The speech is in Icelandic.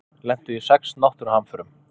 Lentu í sex náttúruhamförum